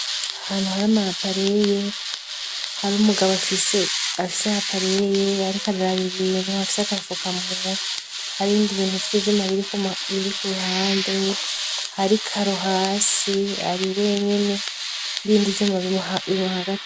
Ahantu hari amayapareye, hari umugabo afise apareye ariko araraba ibintu, afise agafukamunwa, hari ibindi bintu vy'ivyuma biri k'uruhande, hari ikaro hasi, ari wenyene, n'ibindi vyuma bimuhagtiye.